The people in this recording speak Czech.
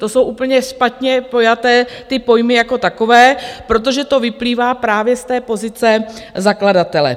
To jsou úplně špatně pojaté ty pojmy jako takové, protože to vyplývá právě z té pozice zakladatele.